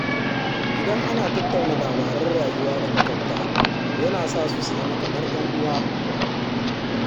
Idan ana tattauna labaran rayuwa da maƙwabta, yana sa su zama kamar ƴan uwa.